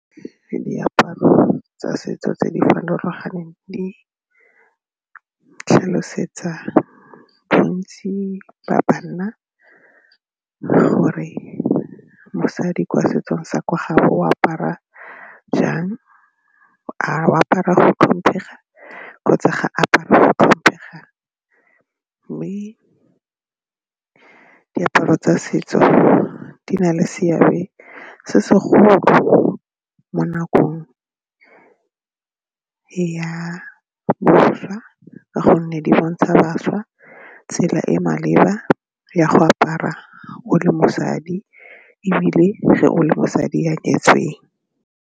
Ke diaparo tsa setso tse di farologaneng di tlhalosetsa bontsi ba banna gore mosadi kwa setsong sa kwa gabo o apara jang, a o apara go tlhomphega kgotsa ga a apare go tlhomphega mme diaparo tsa setso di na le seabe se segolo mo nakong ya boswa ka gonne di bontsha bašwa tsela e e maleba ya go apara o le mosadi ebile ge o le mosadi a nyetseng.